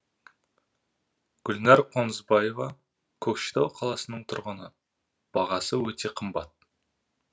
гүлнәр қонысбаева көкшетау қаласының тұрғыны бағасы өте қымбат